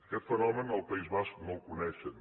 aquest fenomen al país basc no el coneixen